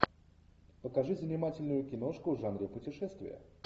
покажи занимательную киношку в жанре путешествия